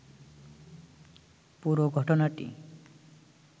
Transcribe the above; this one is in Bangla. পুরো ঘটনাটি